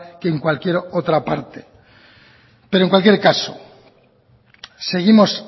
que en cualquier otra parte pero en cualquier caso seguimos